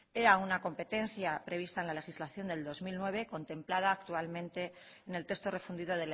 era una competencia prevista en la legislación del dos mil nueve contemplada actualmente en el texto refundido